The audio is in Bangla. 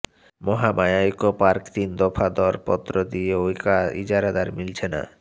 মহামায়া ইকো পার্ক তিন দফা দরপত্র দিয়েও ইজারাদারমিলছে না